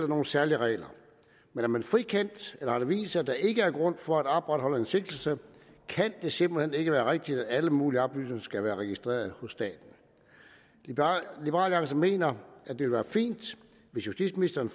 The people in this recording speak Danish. nogle særlige regler men er man frikendt eller har det vist sig at der ikke er grundlag for at opretholde en sigtelse kan det simpelt hen ikke være rigtigt at alle mulige oplysninger skal være registreret hos staten liberal alliance mener at det vil være fint hvis justitsministeren